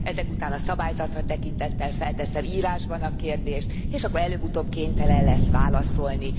Ezek után a szabályzatra tekintettel felteszem írásban a kérdést, és akkor előbb utóbb kénytelen lesz válaszolni.